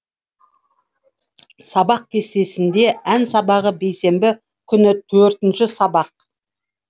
сабақ кестесінде ән сабағы бейсенбі күні төртінші сабақ